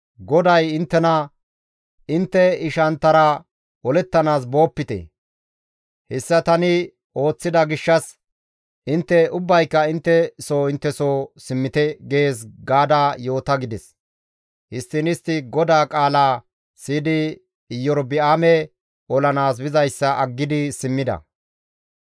‹GODAY inttena, intte ishanttara olettanaas boopite; hessa tani ooththida gishshas intte ubbayka intte soo intte soo simmite› gees gaada yoota» gides. Histtiin istti GODAA qaalaa siyidi Iyorba7aame olanaas bizayssa aggidi simmida.